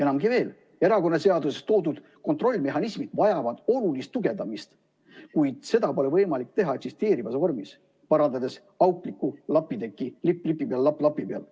Enamgi veel, erakonnaseaduses toodud kontrollimehhanismid vajavad olulist tugevdamist, kuid seda pole võimalik teha eksisteerivas vormis, parandades auklikku lapitekki, lipp lipi peal, lapp lapi peal.